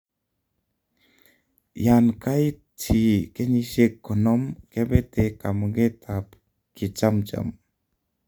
yan gait chi kenyisieg konom, kepete kamuget ab kechamjam